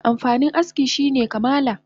Amfanin aski shine kamala